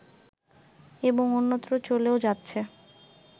এবং অন্যত্র চলেও যাচ্ছে